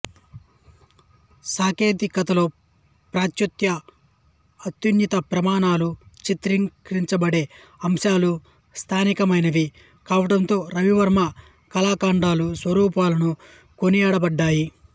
సాంకేతికతలో పాశ్చాత్య అత్యున్నత ప్రమాణాలు చిత్రీకరించబడే అంశాలు స్థానికమైనవి కావటంతో రవివర్మ కళాఖండాలు సర్వులతో కొనియాడబడ్డాయి